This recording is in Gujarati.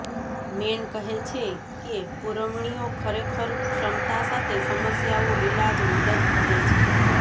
મેન કહે છે કે પુરવણીઓ ખરેખર ક્ષમતા સાથે સમસ્યાઓ ઇલાજ મદદ કરે છે